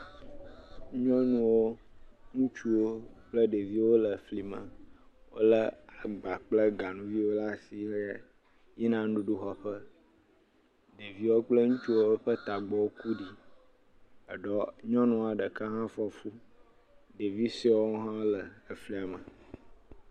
Nyɔnuwo, ŋutsuwo kple ɖeviwo le fli me. Wole agba kple ganuviwo ɖe asi le yina nuɖuɖu xɔƒe. Ɖeviwo kple ŋutsuwo ƒe tagbɔ ku ɖi, eɖewo nyɔnua ɖeka hã fɔ fu. Ɖevi suewo hã le flia me.